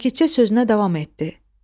Sakitcə sözünə davam etdi.